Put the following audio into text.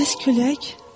Bəs külək?